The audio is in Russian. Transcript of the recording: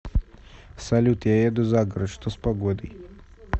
салют я еду за город что с погодой